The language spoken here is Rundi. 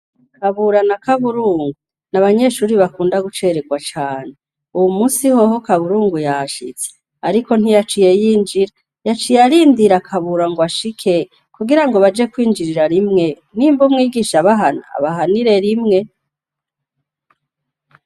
Kabura na Kaburungu n'abanyeshure bakunda guceregwa cane. Uwumusi hoho Kaburungu yashitse ariko ntiyaciye yinjira; yaciye arindira Kabura ngwashike kugirango baje kwinjirira rimwe nimba umwigisha abahana abahanire rimwe.